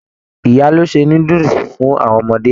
Ìyá ló ṣe núdúsí fún àwọn ọmọdé.